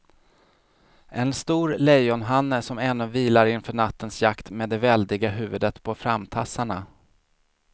En stor lejonhanne som ännu vilar inför nattens jakt med det väldiga huvudet på framtassarna.